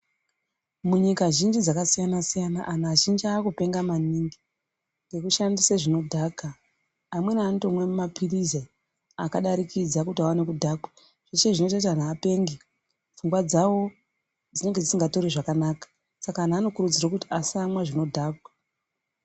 Munyika zhinji dzakasiyana-siyana, anhu azhinji aakupenga maningi, ngekushandise zvinodhaka. Amweni anotomwe maphirizi akadarikidza kuti vaone kudhakwa. Zveshe zvinoite kuti anhu apenge ,pfungwa dzavo dzinenge dzisingatori zvakanaka. Saka anhu anokurudzirwa kuti asatore zvinodhaka.